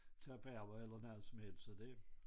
Tage på arbejde eller noget som helst så det